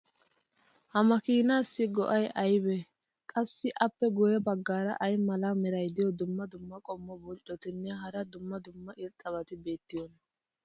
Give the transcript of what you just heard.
ha makiinaassi go'ay aybee? qassi appe guye bagaara ay mala meray diyo dumma dumma qommo bonccotinne hara dumma dumma irxxabati beetiyoonaa?